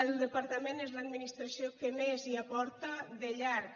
el departament és l’administració que més hi aporta de llarg